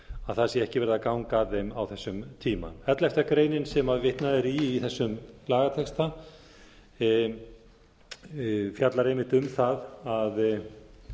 að það sé ekki verið að ganga að því á þessum tíma ellefta greinin sem vitnað er í í þessum lagatexta fjallar einmitt um það að